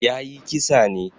Ya yi kisa ne.